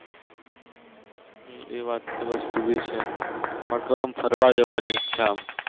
હમ એ વાત એ વસ્તુ ભી છે પણ કોઈ આમ ફરવા જવાની ઈચ્છા